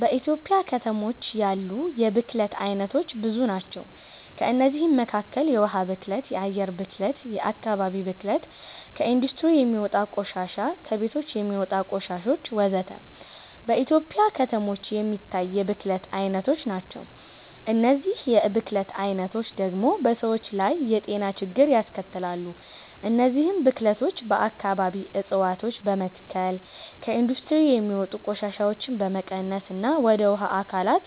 በኢትዮጵያ ከተሞች ያሉ የብክለት አይነቶች ብዙ ናቸው። ከእነዚህም መካከል የውሃ ብክለት፣ የአየር ብክለት፣ የአከባቢ ብክለት፣ ከኢንዱስትሪ የሚወጣ ቆሻሻ፣ ከቤቶች የሚወጣ ቆሻሾች ወዘተ። በኢትዮጵያ ከተሞች የሚታይ የብክለት አይነቶች ናቸው። እነዚህ የብክለት አይነቶች ደግሞ በሰዎች ላይ የጤና ችግሮችን ያስከትላሉ። እነዚህን ብክለቶች በአከባቢ እፀዋቶችን በመትከል፣ ከኢንዱስትሪ የሚወጡ ቆሻሻዎችን በመቀነስና ወደ ውሃ አካላት